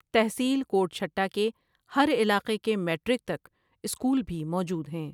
تحصیل کوٹ چهٹہ کے ہر علاقے کے میڑرک تک سکول بهی موجود ہیں۔